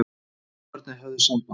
Þjófarnir höfðu samband.